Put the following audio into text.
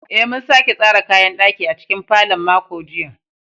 Eh, mun sake tsara kayan ɗaki a cikin falon makon jiya